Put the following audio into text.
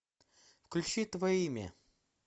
включи твое имя